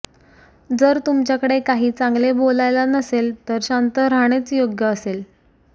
जर तुमच्याकडे काही चांगले बोलायला नसेल तर शांत राहणेच योग्य असेल